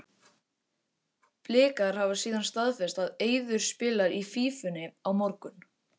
Blikar hafa síðan staðfest að Eiður spilar í Fífunni á morgun.